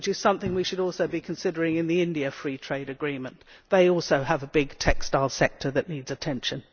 This is something we should also be considering in the India Free Trade Agreement, as India also has a big textile sector that needs attention.